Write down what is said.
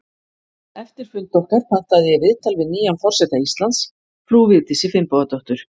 Eftir fund okkar pantaði ég viðtal við nýjan forseta Íslands, frú Vigdísi Finnbogadóttur.